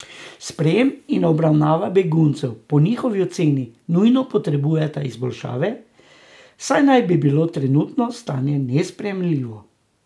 Sprejem in obravnava beguncev po njihovi oceni nujno potrebujeta izboljšave, saj naj bi bilo trenutno stanje nesprejemljivo.